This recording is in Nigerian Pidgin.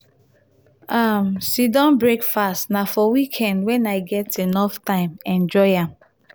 um sit-down breakfast na for weekend wen i get enough time enjoy am.